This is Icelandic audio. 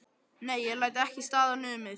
Nei, ég læt ekki staðar numið.